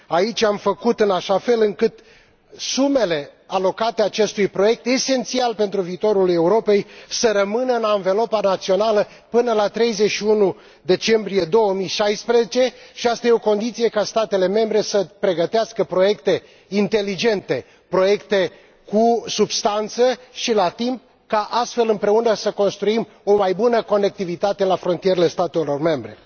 Aici am făcut în așa fel încât sumele alocate acestui proiect esențial pentru viitorul Europei să rămână în anvelopa națională până la 31 decembrie 2016, și asta e o condiție ca statele membre să pregătească proiecte inteligente, proiecte cu substanță și la timp pentru ca, astfel, împreună să construim o mai bună conectivitate la frontierele statelor membre.